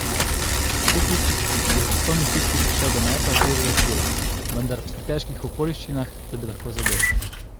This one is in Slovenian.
Hukić je v časovni stiski prišel do meta z levega krila, vendar v pretežkih okoliščinah, da bi lahko zadel.